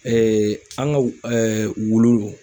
an ka wulu